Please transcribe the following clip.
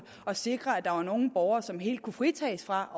at sikre at der var nogle borgere som helt kunne fritages fra